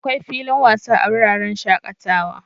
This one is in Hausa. Akwai filin wasa a wuraren shakatawa.